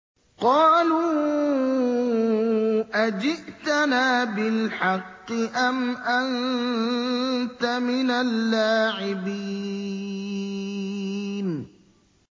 قَالُوا أَجِئْتَنَا بِالْحَقِّ أَمْ أَنتَ مِنَ اللَّاعِبِينَ